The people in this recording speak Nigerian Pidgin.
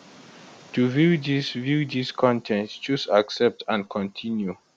to view dis view dis con ten t choose accept and continue